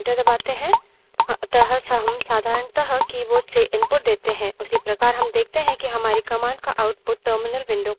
उसी प्रकार हम देखते हैं कि हमारी command का output terminal window पर भी प्रदर्शित होता है